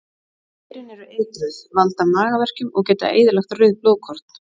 Berin eru eitruð, valda magaverkjum og geta eyðilagt rauð blóðkorn.